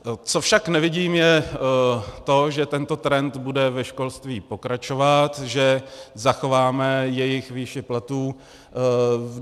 Co však nevidím, je to, že tento trend bude ve školství pokračovat, že zachováme jejich výši platů.